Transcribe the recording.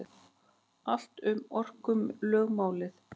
Allt um orkulögmálið.